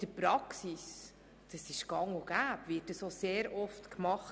In der Praxis ist das gang und gäbe und wird sehr oft gemacht.